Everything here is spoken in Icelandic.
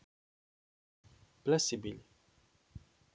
Bless í bili.